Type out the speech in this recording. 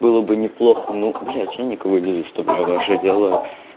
было бы неплохо ну блядь я никого не заставляю ваше дело